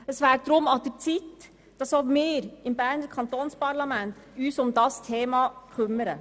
Daher wäre es an der Zeit, dass auch wir uns im Berner Kantonsparlament um dieses Thema kümmern.